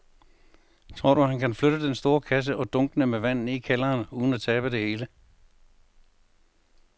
Tror du, at han kan flytte den store kasse og dunkene med vand ned i kælderen uden at tabe det hele?